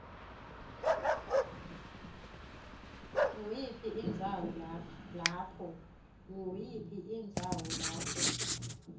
nguyiphi indzawo lapho